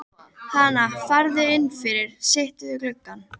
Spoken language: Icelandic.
Hana, farðu inn fyrir, sittu við gluggann.